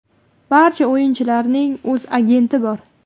Barcha o‘yinchilarning o‘z agenti bor.